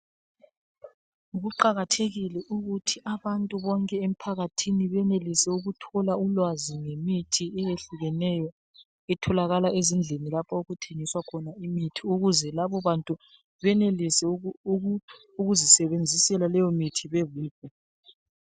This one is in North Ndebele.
Kuqakathekile ukuthi abantu bonke emphakathini benelise ukuthola ulwazi ngemithi ehlukeneyo etholakala ezindlini lapho okuthengiswa khona imithi ukuze labo bantu benelise ukuzisebenzisela leyo mithi bebodwa.